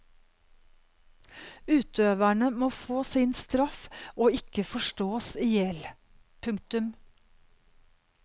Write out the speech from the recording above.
Utøverne må få sin straff og ikke forstås ihjel. punktum